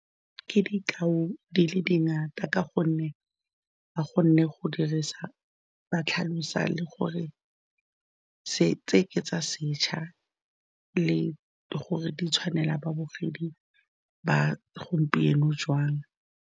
Ke dikao di le dingata ka gonne ba kgonne go dirisa ba tlhalosa le gore tse oketsa setšha le gore di tshwanela babogedi ba gompieno jwang.